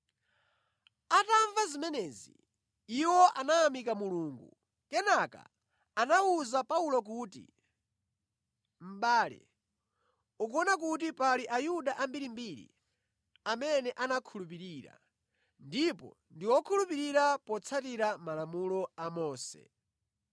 Atamva zimenezi, iwo anayamika Mulungu. Kenaka anawuza Paulo kuti, “Mʼbale, ukuona kuti pali Ayuda ambirimbiri amene anakhulupirira, ndipo ndi okhulupirika potsatira Malamulo a Mose.